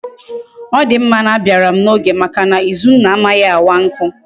Odimma na abiaram na oge Maka na izunna amaghi awa nku